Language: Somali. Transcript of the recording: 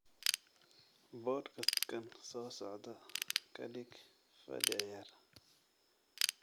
Podcast-kan soo socda ka dhig fadhi ciyaar